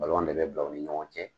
de bɛ bil'aw ni ɲɔgɔn cɛ